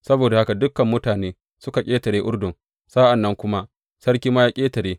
Saboda haka dukan mutane suka ƙetare Urdun, sa’an nan kuma sarki ma ya ƙetare.